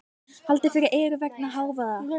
Haldið fyrir eyrun vegna hávaða.